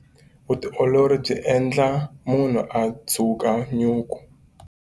Vutiolori byi endla munhu a dzuka nyuku.